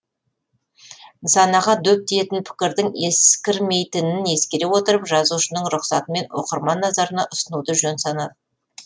нысанаға дөп тиетін пікірдің ескірмейтінін ескере отырып жазушының рұқсатымен оқырман назарына ұсынуды жөн санадық